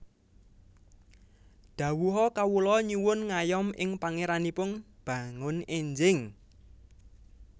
Dhawuha Kawula nyuwun ngayom ing Pangéranipun bangun énjing